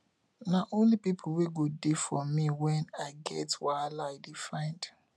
na only pipu wey go dey for me wen i get wahala i dey find